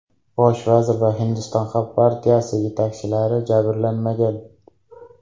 Bosh vazir va Hindiston xalq partiyasi yetakchilari jabrlanmagan.